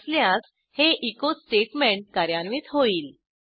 असल्यास हे echo statement कार्यान्वित होईल